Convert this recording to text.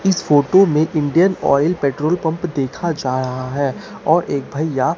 इस फोटो में एक इंडियन ऑयल पेट्रोल पंप देखा जा रहा है और एक भैया--